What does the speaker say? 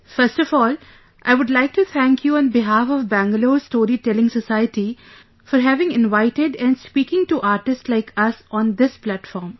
First of all, I would like to thank you on behalf of Bangalore Story Telling Society for having invited and speaking to artists like us on this platform